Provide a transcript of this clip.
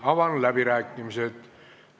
Avan läbirääkimised.